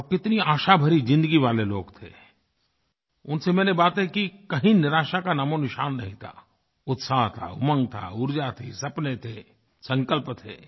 और वो कितनी आशाभरी ज़िन्दगी वाले लोग थे उनसे मैंने बातें की कहीं निराशा का नामोनिशान नहीं था उत्साह था उमंग था ऊर्जा थी सपने थे संकल्प थे